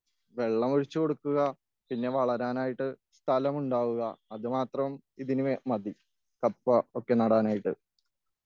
വെള്ളം ഒഴിച്ച് കൊടുക്കുക.പിന്നെ വളരാനായിട്ട് സ്ഥലം ഉണ്ടാവുക.അത് മാത്രം ഇതിന് മതി.കപ്പയൊക്കെ നടാനായിട്ട്.